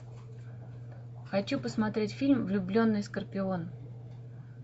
хочу посмотреть фильм влюбленный скорпион